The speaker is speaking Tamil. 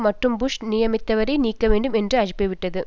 மற்றும் புஷ் நியமித்தவரை நீக்க வேண்டும் என்று அழைப்புவிட்டது